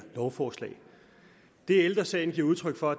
lovforslag det ældre sagen giver udtryk for